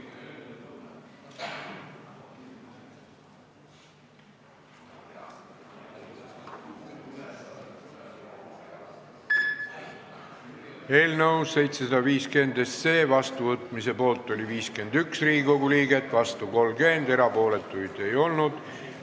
Hääletustulemused Eelnõu 750 seadusena vastuvõtmise poolt oli 51 Riigikogu liiget, vastu 30, erapooletuid ei olnud.